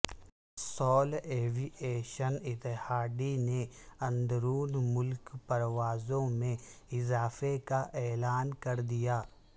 civil aviation authority نے اندرون ملک پروازوں میں اضافے کا اعلان کردیا